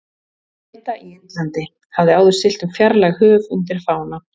Breta í Indlandi, hafði áður siglt um fjarlæg höf undir fána